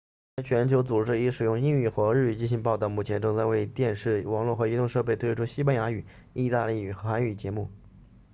该全球组织已经使用英语和日语进行报道目前正在为电视网络和移动设备推出西班牙语意大利语和韩语节目